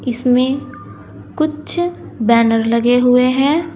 इसमें कुछ बैनर लगे हुए हैं।